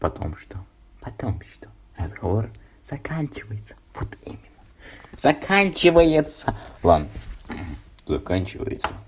потому что потом что разговор заканчивается вот именно заканчивается ладно заканчивается